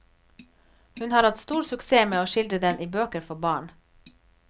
Hun har hatt stor suksess med å skildre den i bøker for barn.